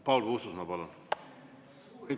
Paul Puustusmaa, palun!